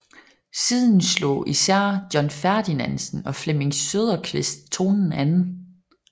Siden slog især John Ferdinandsen og Flemming Søderquist tonen an